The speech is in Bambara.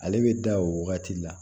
Ale bɛ da o wagati la